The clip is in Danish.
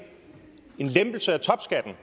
lempelse af topskatten